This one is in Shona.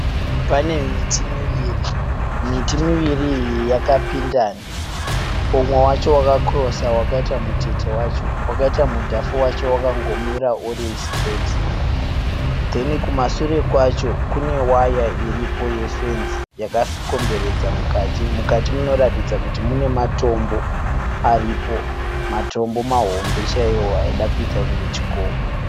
Pane miti miviri. Miti miviri iyi yakapindana. Umwe wacho waka kirosa wakaita mutete wacho wakaita mudhafu wacho wakango mira uri sitireti. Kumashure kwacho kune waya iriko ye fenzi yakakomberedza mukati. Mukati munoratidza kuti mune matombo aripo. Matombo mahombe chaiwo aida kuita kunge chikomo.